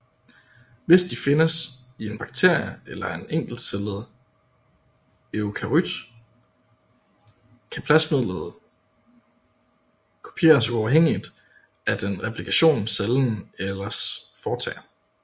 Hvis de findes i en bakterie eller en encellet eukaryot kan plasmidet kopieres uafhængigt af den replikation cellen ellers foretager